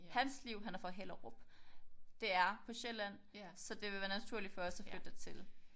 Hans liv han er fra Hellerup det er på Sjælland så det vil være naturligt for os at flytte dertil